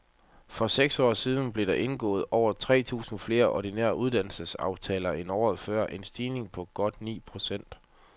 I for seks år siden blev der indgået over tre tusind flere ordinære uddannelsesaftaler end året før, en stigning på godt ni procent.